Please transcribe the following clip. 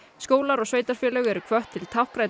skólar og sveitarfélög eru hvött til